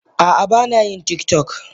Ah ah bana yin tiktok.